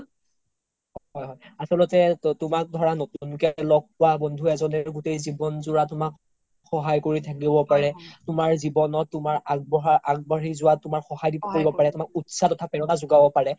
হয় হয় আচল্তে তুমাক ধৰা নতুন কে লগ পোৱা বন্ধু এজনে গোতেই জিৱন যোৰা তুমাক সহায় থাকিব পাৰে তুমাৰ জিৱনত তুমাৰ আগবাঢ়ি জুৱাত সহায় কৰিব পাৰে তুমাক উত্চাহ বা পেৰনা জুগাব পাৰে